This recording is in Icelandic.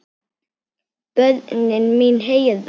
Börnin mín herra.